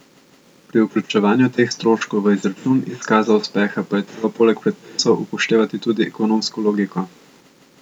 Pri vključevanju teh stroškov v izračun izkaza uspeha pa je treba poleg predpisov upoštevati tudi ekonomsko logiko.